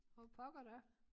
For pokker da